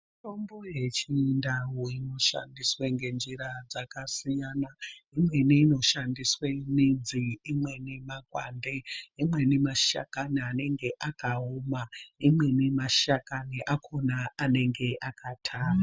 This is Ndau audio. Mitombo yechindau inoshandiswa ngenjira dzkasiyana imweni inoshandiswa midzi imweni makwande imweni mashakani anenge akaoma imweni mashakani anenge akatamba.